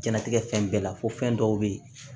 Jɛnatigɛ fɛn bɛɛ la fɔ fɛn dɔw be ye